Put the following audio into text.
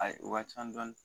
Ayi u ka ca dɔni